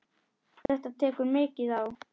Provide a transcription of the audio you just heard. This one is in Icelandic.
Þetta tekur mikið á.